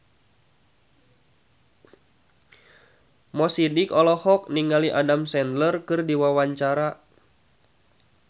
Mo Sidik olohok ningali Adam Sandler keur diwawancara